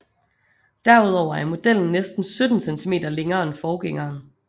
Derudover er modellen næsten 17 cm længere end forgængeren